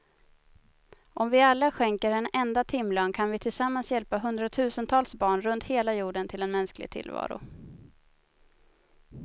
Om vi alla skänker en enda timlön kan vi tillsammans hjälpa hundratusentals barn runt hela jorden till en mänsklig tillvaro.